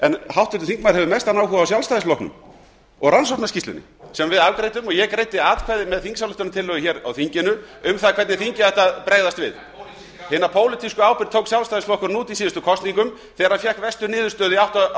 en háttvirtur þingmaður hefur mestan áhuga á sjálfstæðisflokknum og rannsóknarskýrslunni sem við afgreiddum og ég greiddi atkvæði með þingsályktunartillögu hér á þinginu um það hvernig þingið ætti að bregðast við hina pólitísku ábyrgð tók sjálfstæðisflokkurinn út í síðustu kosningum þegar hann fékk verstu niðurstöðu í